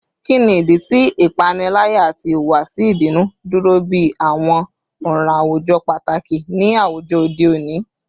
Kini idi ti ipanilaya ati ihuwasi ibinu duro bi awọn ọran awujọ pataki ni awujọ ode oni?